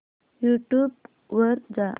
YouTube वर जा